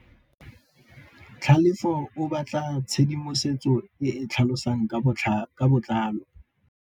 Tlhalefô o batla tshedimosetsô e e tlhalosang ka botlalô.